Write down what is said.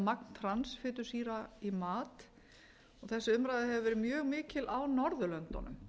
magn transfitusýra í mat þessi umræða hefur verið mjög mikil á norðurlöndunum